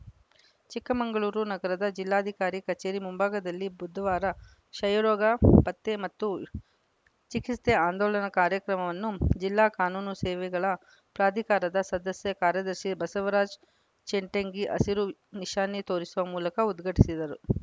ಚಿಕ್ಕಮಗಳೂರು ನಗರದ ಜಿಲ್ಲಾಧಿಕಾರಿ ಕಚೇರಿ ಮುಂಭಾಗದಲ್ಲಿ ಬುಧವಾರ ಕ್ಷಯರೋಗ ಪತ್ತೆ ಮತ್ತು ಚಿಕಿತ್ಸೆ ಆಂದೋಲನ ಕಾರ್ಯಕ್ರಮವನ್ನು ಜಿಲ್ಲಾ ಕಾನೂನು ಸೇವೆಗಳ ಪ್ರಾಧಿಕಾರದ ಸದಸ್ಯ ಕಾರ್ಯದರ್ಶಿ ಬಸವರಾಜ್‌ ಚೆಟ್ಟಂಗಿ ಹಸಿರು ನಿಶಾನೆ ತೋರಿಸುವ ಮೂಲಕ ಉದ್ಘಾಟಿಸಿದರು